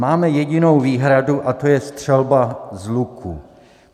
Máme jedinou výhradu, a to je střelba z luku.